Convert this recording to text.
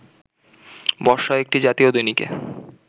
বর্ষাও একটি জাতীয় দৈনিকে